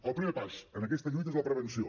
el primer pas en aquesta lluita és la prevenció